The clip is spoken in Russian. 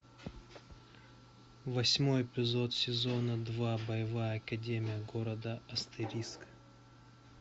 восьмой эпизод сезона два боевая академия города астериск